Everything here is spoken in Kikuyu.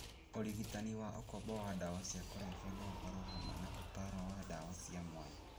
Ũrigitani wa ũkombo wa ndawa cia kũrebia no ũkorũohamwe na ũtaaro na ndawa cia mwanya.